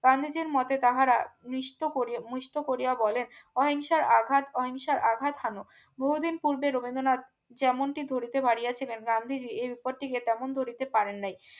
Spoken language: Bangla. গান্ধীজীর মতে তাহারা নিস্ত করিয়া মিস্থ কোরিয়া বলেন অহিংসার আঘাত অহিংসার আঘাত হানো বহুদিন পূর্বে রবীন্দ্রনাথ যেমনটি ধরিতে ফারিয়া ছিলেন গান্ধীজী এর উপর টিকে তেমন ধরিতে পারেন নাই